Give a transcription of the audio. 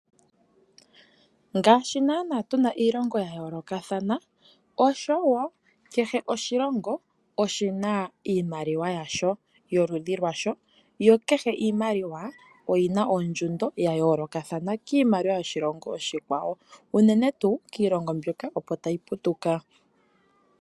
Ngaashi naana tu na iilonga ya yoolokathana osho woo niimaliwa ya yoolokathana. Kehe iimaliwa oyi na ongushu ya yoolokathana kiimaliwa yoshilongo oshikwawo.